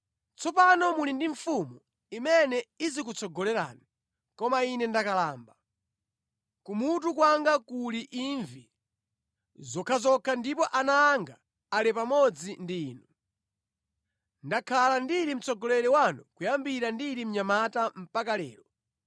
Tsopano muli ndi mfumu imene izikutsogolerani, koma ine ndakalamba, kumutu kwanga kuli imvi zokhazokha ndipo ana anga ali pamodzi ndi inu. Ndakhala ndili mtsogoleri wanu kuyambira ndili mnyamata mpaka lero.